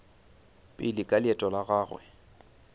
pele ka leeto la gagwe